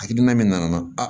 Hakilina min nana